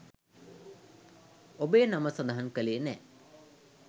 ඔබේ නම සඳහන් කළේ නෑ.